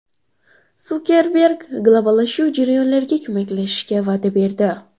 Sukerberg globallashuv jarayonlariga ko‘maklashishga va’da berdi.